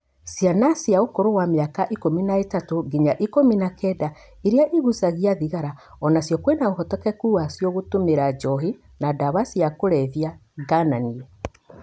Ciana cia ũkũrũ wa mĩaka ikũmina ĩtatũ ginya ikũmi na kenda iria igucagia thigara onacio kwĩna ũhotekeku wacio gũtũmĩra njohi na dawa cia kũlevya gananie.